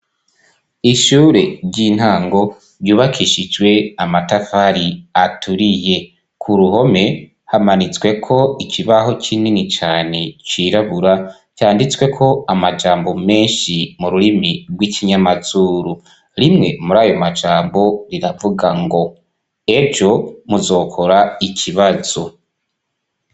Ishure ry'intango ryubakishijwe amatafari aturiye, ku ruhome hamanitsweko ikibaho kinini cane cirabura canditsweko amajambo menshi mu rurimi rw'ikinyamazuru, rimwe muri ayo majambo riravuga ngo ejo muzokora ikibazo.